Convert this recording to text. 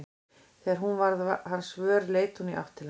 Þegar hún varð hans vör leit hún í átt til hans.